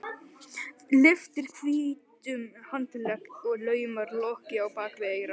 Lyftir hvítum handlegg og laumar lokki á bak við eyra.